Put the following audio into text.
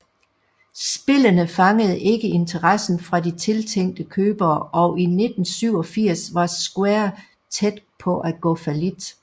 Spillene fangede ikke interessen fra de tiltænkte købere og i 1987 var Square tæt på at gå fallit